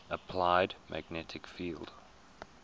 applied magnetic field